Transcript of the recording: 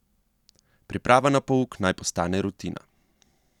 Priprava na pouk naj postane rutina.